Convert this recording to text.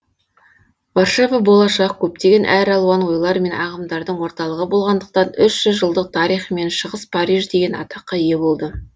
варшава болашақ көптеген әр алуан ойлар мен ағымдардың орталығы болғандықтан үш жүз жылдық тарихымен шығыс париж деген атаққа ие болды